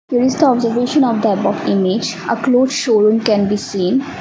it is the observation of type of image a cloth showroom can be seen.